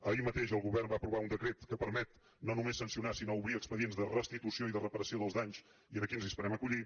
ahir mateix el govern va aprovar un decret que permet no només sancionar sinó obrir expedients de restitució i de reparació dels danys i aquí ens hi esperem acollir